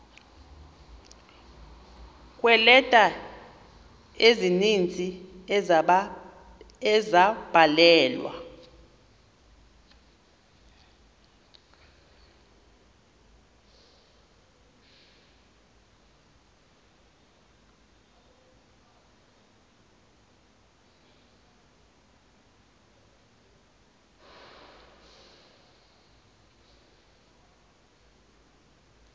kweeleta ezininzi ezabhalelwa